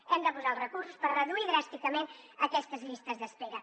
hem de posar els recursos per reduir dràsticament aquestes llistes d’espera